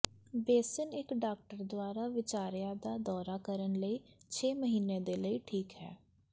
basin ਇੱਕ doctor ਦੁਆਰਾ ਵਿਚਾਰਿਆ ਦਾ ਦੌਰਾ ਕਰਨ ਲਈ ਛੇ ਮਹੀਨੇ ਦੇ ਲਈ ਠੀਕ ਹੈ